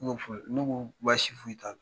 U b'o fɔ ne ko baasi foyi t'a la